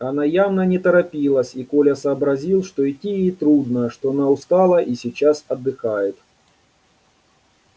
она явно не торопилась и коля сообразил что идти ей трудно что она устала и сейчас отдыхает